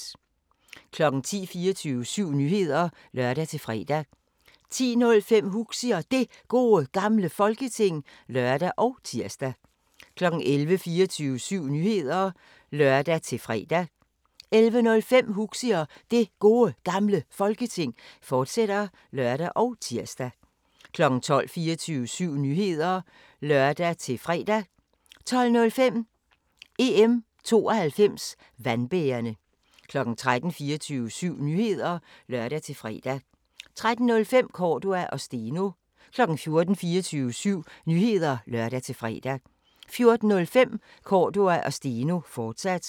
10:00: 24syv Nyheder (lør-fre) 10:05: Huxi og Det Gode Gamle Folketing (lør og tir) 11:00: 24syv Nyheder (lør-fre) 11:05: Huxi og Det Gode Gamle Folketing, fortsat (lør og tir) 12:00: 24syv Nyheder (lør-fre) 12:05: EM' 92 Vandbærerne 13:00: 24syv Nyheder (lør-fre) 13:05: Cordua & Steno 14:00: 24syv Nyheder (lør-fre) 14:05: Cordua & Steno, fortsat